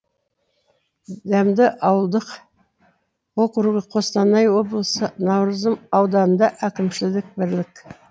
дәмді ауылдық округі қостанай облысы наурызым ауданында әкімшілік бірлік